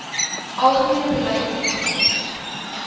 algemene beleid saamgelees